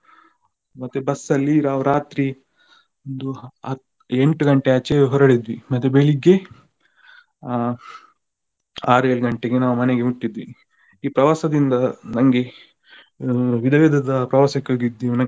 ಮತ್ತೆ bus ಅಲ್ಲಿ ನಾವು ರಾತ್ರಿ ಅದು ಹಾ ಎಂಟು ಗಂಟೆ ಆಚೆ ಹೊರಡಿದ್ವಿ. ಮತ್ತೆ ಬೆಳಿಗ್ಗೆ ಆ ಆರು ಏಳು ಗಂಟೆಗೆ ನಾವು ಮನೆಗೆ ಮುಟ್ಟಿದ್ವಿ. ಈ ಪ್ರವಾಸದಿಂದ ನಂಗೆ ವಿಧ ವಿಧದ ಪ್ರವಾಸಕ್ಕೆ ಹೋಗಿದ್ವಿ ಮತ್ತೆ.